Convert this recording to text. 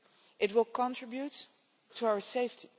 It will contribute to our safety.